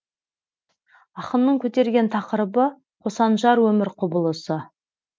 ақынның көтерген тақырыбы қосанжар өмір құбылысы